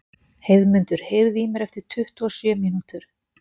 Heiðmundur, heyrðu í mér eftir tuttugu og sjö mínútur.